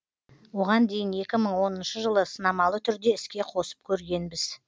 оған дейін екі мың оныншы жылы сынамалы түрде іске қосып көргенбіз